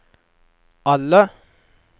alle